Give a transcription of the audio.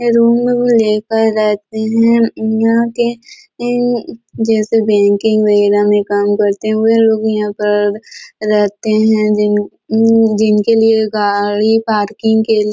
ये रूम उम ले के रहते है यहाँ के अम जैसे बैंकिंग वगेरा में काम करते हुए लोग यहाँ पर रहते है जिन अम जिनके लिए गाड़ी पार्किंग के लिए--